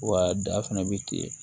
Wa da fɛnɛ bi ten